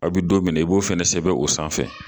Aw bɛ don min na i b'o fana sɛbɛn o sanfɛ